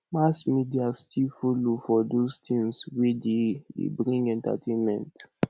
mass media still follow for those things wey dey dey bring entertainment